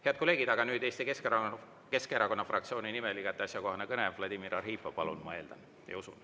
Head kolleegid, aga nüüd Eesti Keskerakonna fraktsiooni nimel igati asjakohane kõne, Vladimir Arhipov, palun, ma eeldan ja usun.